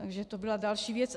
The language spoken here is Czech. Takže to byla další věc.